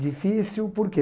Difícil, por quê?